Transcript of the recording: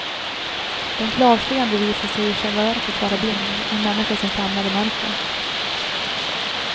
Den klarseende visar sig i själva verket vara blind, en människa som famlar i mörker.